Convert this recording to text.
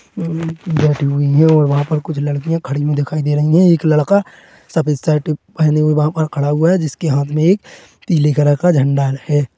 यह बैठी हुई है और वहाँ पर कुछ लड़कियां खड़ी हुई दिखाई दे रही है और एक लड़का सफेद शर्ट पहने हुए वहा पर खड़ा है जिसके हाथ में एक पीले कलर का झंडा है।